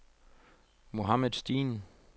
Mohamed Steen